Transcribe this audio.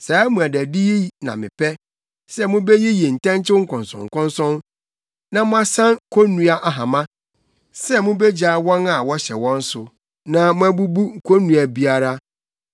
“Saa mmuadadi yi na mepɛ: sɛ mubeyiyi ntɛnkyew nkɔnsɔnkɔnsɔn na moasan konnua ahama, sɛ mubegyaa wɔn a wɔhyɛ wɔn so na moabubu konnua biara.